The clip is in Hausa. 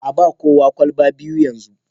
a ba kowa kwalba biyu yanzu